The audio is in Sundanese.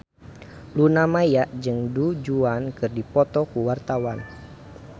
Luna Maya jeung Du Juan keur dipoto ku wartawan